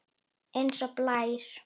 Eins og blær.